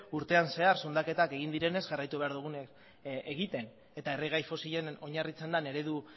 urtean zehar zundaketak egin direnez jarraitu behar dugun egiten eta erregai fosilen oinarritzen den eredu